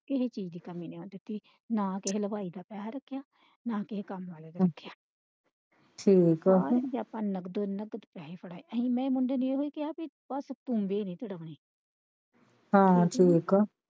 ਕਿਸੇ ਚੀਜ ਦੀ ਕਮੀ ਨਹੀਂ ਹੋਣ ਦਿੱਤੀ ਨਾ ਕਿਸੇ ਹਲਵਾਈ ਦਾ ਪੈਸੇ ਰੱਖਿਆ ਨਾ ਕਿਸੇ ਕੰਮ ਵਾਲੇ ਦਾ ਰੱਖਿਆ ਠੀਕ ਆ ਅਸੀਂ ਤੇ ਆਪਾਂ ਨਕਦ ਪੈਹੇ ਫੜਾਏ ਅਸੀਂ ਮੁੰਡੇ ਨੂੰ ਬਸ ਇਹੀ ਕਿਹਾ ਕਿ ਹਾਂ ਠੀਕ ਆ।